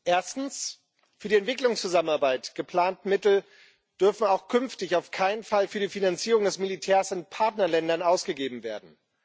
Erstens Für die Entwicklungszusammenarbeit geplante Mittel dürfen auch künftig auf keinen Fall für die Finanzierung des Militärs in Partnerländern ausgegeben werden.